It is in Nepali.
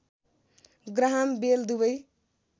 ग्राहम बेल दुबै